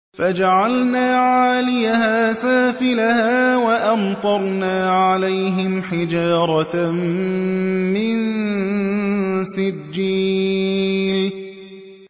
فَجَعَلْنَا عَالِيَهَا سَافِلَهَا وَأَمْطَرْنَا عَلَيْهِمْ حِجَارَةً مِّن سِجِّيلٍ